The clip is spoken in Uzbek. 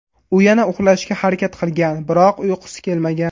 U yana uxlashga harakat qilgan, biroq uyqusi kelmagan.